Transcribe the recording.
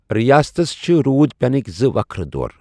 رِیاستس چھِ روٗد پینٕکۍ زٕ وكھرٕ دور ۔